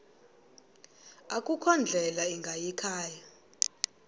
akukho ndlela ingayikhaya